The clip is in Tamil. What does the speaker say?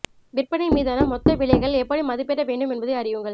விற்பனை மீதான மொத்த விலைகள் எப்படி மதிப்பிட வேண்டும் என்பதை அறியுங்கள்